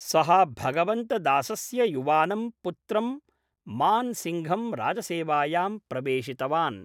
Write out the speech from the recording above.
सः भगवन्त दासस्य युवानं पुत्रं मान् सिङ्घं राजसेवायां प्रवेशितवान्।